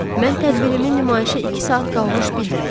Mən tədbirimi nümayişə iki saat qalmış bildirəcəyəm.